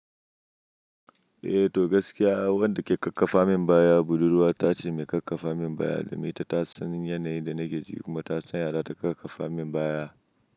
Eh to gaskiya wanda ke ƙarfafa min baya budurwa ta ce mai ƙarfafa min baya, domin ita ta san yanayin da nake ciki kuma ta san yadda ta ƙarfafa min baya.